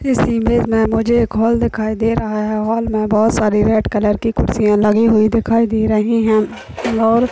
इस इमेज में मुझे एक हॉल दिखाई दे रहा है। हॉल में बोहत सारी रेड कलर की कुर्सियाँ लगी हुई दिखाई दे रही है। और--